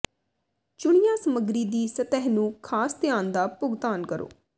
ਚੁਣਿਆ ਸਮੱਗਰੀ ਦੀ ਸਤਹ ਨੂੰ ਖਾਸ ਧਿਆਨ ਦਾ ਭੁਗਤਾਨ ਕਰੋ